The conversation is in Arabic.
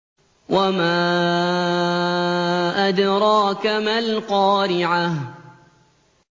وَمَا أَدْرَاكَ مَا الْقَارِعَةُ